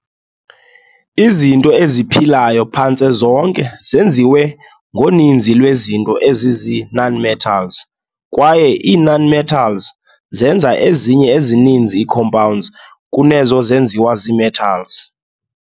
Izinto eziphilayo phantse zonke zenziwe ngoninzi lwezinto ezizii- nonmetals, kwaye ii-nonmetals zenza ezinye ezininzi ii-compounds kunezo zenziwa zii-metals.